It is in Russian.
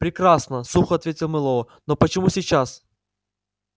прекрасно сухо ответил мэллоу но почему сейчас